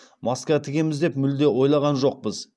маска тігеміз деп мүлде ойлаған жоқпыз